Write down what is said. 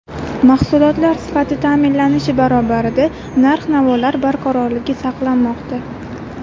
Mahsulotlar sifati ta’minlanishi barobarida narx-navolar barqarorligi saqlanmoqda.